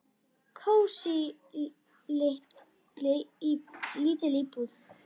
Kósí, lítil íbúð.